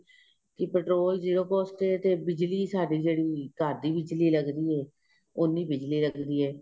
ਕੀ petrol zero cost ਏ ਤੇ ਬਿਜਲੀ ਸਾਡੀ ਜਿਹੜੀ ਘਰ ਦੀ ਬਿੱਜਲੀ ਲੱਗਦੀ ਏ ਉੰਨੀ ਬਿੱਜਲੀ ਲੱਗਦੀ ਏ